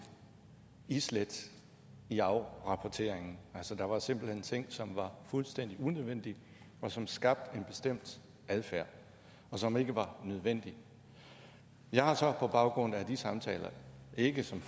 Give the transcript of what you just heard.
islæt i afrapporteringen altså der var simpelt hen ting som var fuldstændig unødvendige og som skabte en bestemt adfærd som ikke var nødvendig jeg har så på baggrund af de samtaler ikke som